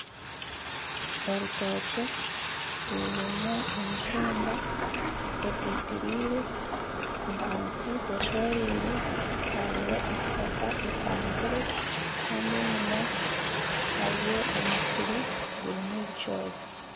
Orutookye rurimu emitumba etitiriire ahansi teshoreire hariyo ekishaka ekanzire Kandi enyuma hariyo omusiri gurimu ebicoori